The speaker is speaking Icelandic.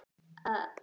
Enn er fólk í